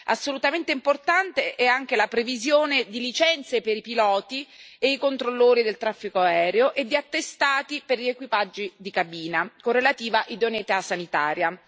Assolutamente importante è anche la previsione di licenze per i piloti e i controllori del traffico aereo e di attestati per gli equipaggi di cabina con relativa idoneità sanitaria.